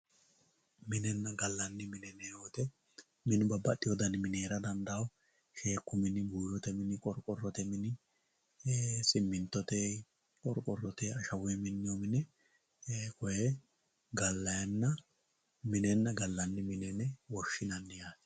MInenna gallanni mine yineemmo woyte minu babbaxewo dani mini heera dandaano shekku mini, buyote mini, qorqorote mini, simittote, qorqorote ashawunni minoni mine woyi gallaninna gallani mine yine woshshinanni.